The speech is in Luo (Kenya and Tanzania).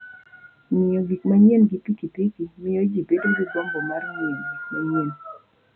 Ng'iyo gik manyien gi pikipiki miyo ji bedo gi gombo mar ng'iyo gik manyien.